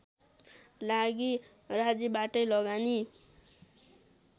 लागि राज्यबाटै लगानी